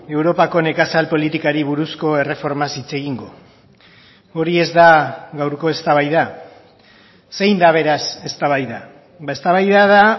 europako nekazal politikari buruzko erreformaz hitz egingo hori ez da gaurko eztabaida zein da beraz eztabaida eztabaida da